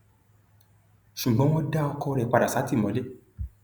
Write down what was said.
ṣùgbọn wọn dá ọkọ rẹ padà sátìmọlé